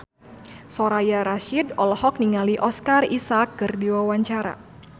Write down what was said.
Soraya Rasyid olohok ningali Oscar Isaac keur diwawancara